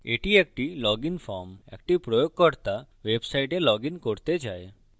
এটি একটি login form একটি প্রয়োগকর্তা website লগইন করতে চায়